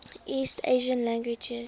east asian languages